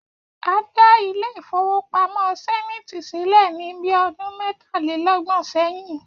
A dá ilé ìfowópamó̩ Sé̩níìtì sílè̩ ní bí o̩dún mé̩tàléló̩gbò̩n sé̩yìn